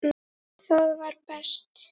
Það var best.